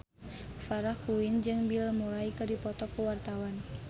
Farah Quinn jeung Bill Murray keur dipoto ku wartawan